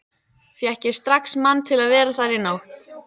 Fékk ég strax mann til að vera þar í nótt.